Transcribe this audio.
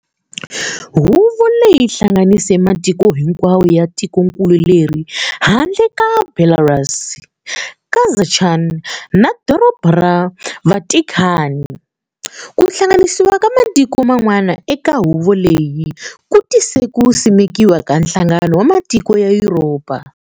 Huvo leyi yihlanganise matiko hinkwawo ya tikonkulu leri, handle ka Belarus, Kazakhstan na Dorobha ra Vatikhani. Kuhlanganisiwa ka matiko man'wana eka huvo leyi ku tise ku simekiwa ka Nhlangano wa Matiko ya Yuropa.